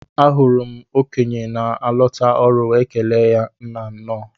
Ahụrụ m okenye na alota ọrụ wee kelee ya Nnaa nnọọ